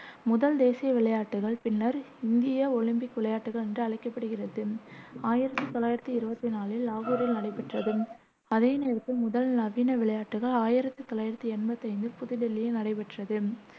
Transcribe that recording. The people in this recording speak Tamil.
முதல் தேசிய விளையாட்டுகள், பின்னர் இந்திய ஒலிம்பிக் விளையாட்டுகள் என்று அழைக்கப்படுகிறது, ஆயிரத்தி தொள்ளாயிரத்தி இருவத்தி நாலில் லாகூரில் நடைபெற்றது, அதே நேரத்தில் முதல் நவீன விளையாட்டுக்கள் ஆயிரத்தி தொள்ளாயிரத்தி எண்பத்தைந்தில் புது தில்லியில் நடைபெற்றது